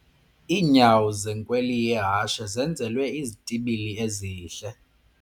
Iinyawo zenkweli yehashe zenzelwe izitibili ezihle.